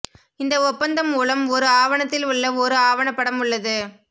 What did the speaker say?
இந்த ஒப்பந்தம் மூலம் ஒரு ஆவணத்தில் உள்ள ஒரு ஆவணப்படம் உள்ளது